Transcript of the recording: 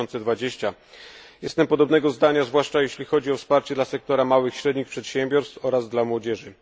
2020. Jestem podobnego zdania, zwłaszcza jeśli chodzi o wsparcie dla sektora małych i średnich przedsiębiorstw oraz dla młodzieży.